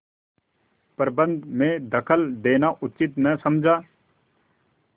प्रबंध में दखल देना उचित न समझा